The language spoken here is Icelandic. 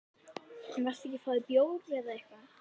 En varstu ekki að fá þér bjór eða eitthvað?